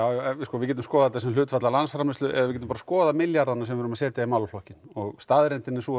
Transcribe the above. við getum skoðað þetta sem hlutfall af landsframleiðslu eða við getum bara skoðað milljarðana sem við erum að setja í málaflokkinn og staðreyndin er sú að